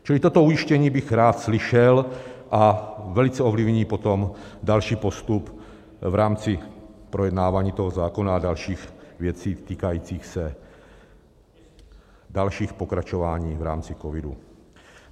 Čili toto ujištění bych rád slyšel a velice ovlivní potom další postup v rámci projednávání toho zákona a dalších věcí týkajících se dalších pokračování v rámci covidu.